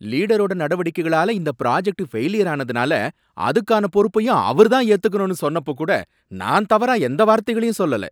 லீடரோட நடவடிக்கைகளால இந்த புராஜெக்ட் ஃபெயிலியரானதுனால அதுக்கான பொறுப்பையும் அவர்தான் ஏத்துக்கணும்னு சொன்னப்ப கூட நான் தவறா எந்த வார்த்தைகளையும் சொல்லல.